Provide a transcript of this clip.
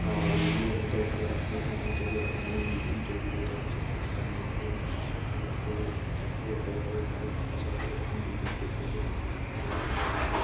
আর এইগুলো আমাদের ঘরের আশেপাশে অনেক জায়গায় এরকম অনেক বিল্ডিং তৈরি হয়ে থাকে যেগুলো আমরা মেইনটেন ন্যান্স করি এখানে দেখতেও ভালো লাগে ঘরে ফাঁকা জায়গাগুলো যখন বিল্ডিং তৈরি হয়ে যায় খুবই সুন্দর লাগে জায়গাটা দেখ --